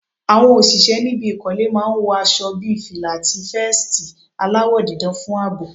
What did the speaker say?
Àwọn òṣìṣẹ́ níbi ìkọ́lé máa ń wọ aṣo bí fìlà, àti vẹ́ẹ̀stì aláwọ̀ dídán fún àbò.